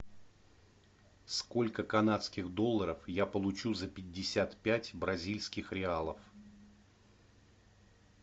сколько канадских долларов я получу за пятьдесят пять бразильских реалов